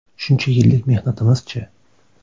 Shuncha yillik mehnatimiz-chi?